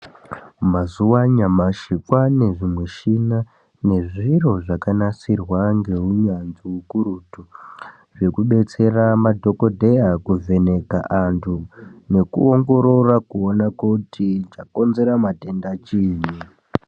Mazuva anya mashikwava ne zvimichina nezviro zvakanasirwa neunyanzvi hukurutu nekudetsera madhokodheya kuvheneka antu nekuongorora kuona kuti chakonzera matenda chiinyi.